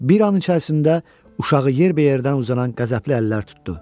Bir an içərisində uşağı yerbəyərdən uzanan qəzəbli əllər tutdu.